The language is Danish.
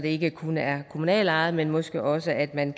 ikke kun er kommunalt ejede men måske også at man